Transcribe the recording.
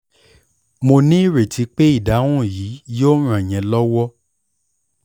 mo ní ìrètí pé ìdáhùn yìí yóò ràn yín lọ́wọ́!